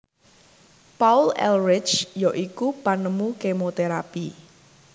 Paul Ehrlich ya iku penemu kemoterapi